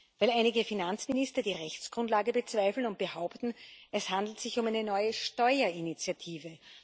Weil einige Finanzminister die Rechtsgrundlage bezweifeln und behaupten, es handle sich um eine neue Steuerinitiative.